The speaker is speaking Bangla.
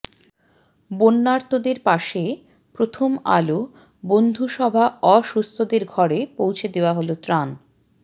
বন্যার্তদের পাশে প্রথম আলো বন্ধুসভা অসুস্থদের ঘরে পৌঁছে দেওয়া হলো ত্রাণ